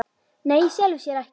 Nei í sjálfu sér ekki.